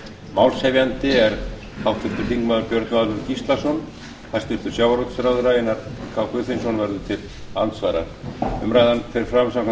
málshefjandi er háttvirtur þingmaður björn valur gíslason hæstvirtur sjávarútvegsráðherra einar k guðfinnsson verður til andsvara umræðan fer fram samkvæmt